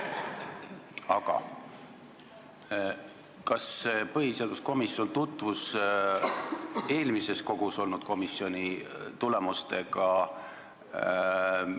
Aga kas põhiseaduskomisjon tutvus eelmises koosseisus olnud komisjoni töö tulemustega?